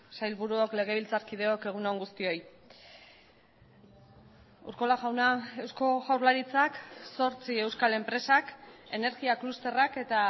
sailburuok legebiltzarkideok egun on guztioi urkola jauna eusko jaurlaritzak zortzi euskal enpresak energia klusterrak eta